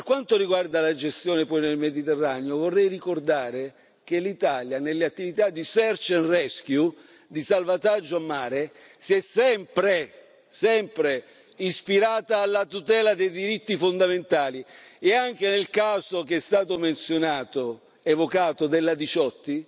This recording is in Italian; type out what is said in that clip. Per quanto riguarda la gestione poi nel Mediterraneo, vorrei ricordare che l'Italia, nelle attività di search and rescue di salvataggio in mare, si è sempre, sempre ispirata alla tutela dei diritti fondamentali, e anche nel caso che è stato menzionato, evocato, della Diciotti,